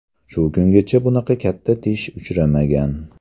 Shu kungacha bunaqa katta tish uchramagan”.